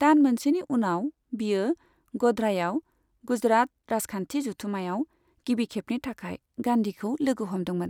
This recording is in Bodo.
दान मोनसेनि उनाव, बियो ग'ध्रायाव गुजरात राजखान्थि जथुममायाव गिबिखेबनि थाखाय गान्धीखौ लोगो हमदोंमोन।